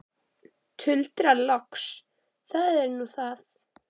Tuldra loks: Það er nú það.